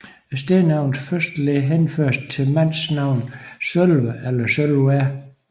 Stednavnets første led henføres til mandsnavn Sølve eller Sølwer